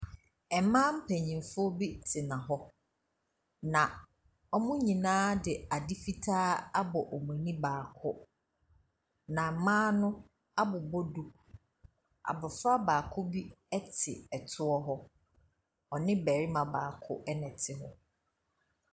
Mmaa mpanimfo bi tena hɔ na wɔn nyinaa de ade fitaa abɔ wɔn ani baako, na mmaa no abobɔ duku. Abɔfra baako bi te toɔ hɔ, ɔne barima baako na ɛte hɔ.